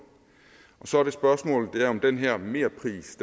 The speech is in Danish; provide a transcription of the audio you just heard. og så er spørgsmålet om den her merpris